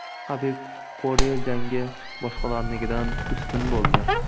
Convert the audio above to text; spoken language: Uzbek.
HabibPorye jangi boshqalarnikidan ustun bo‘ldi.